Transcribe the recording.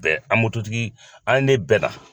Bɛn an mototigi an ne bɛnna.